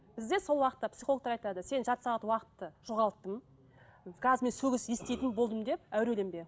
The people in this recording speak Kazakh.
бізде сол уақытта психологтар айтады сен жарты сағат уақытты жоғалттың қазір мен сөгіс еститін болдым деп әуреленбе